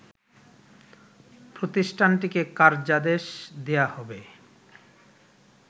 প্রতিষ্ঠানটিকে কার্যাদেশ দেয়া হবে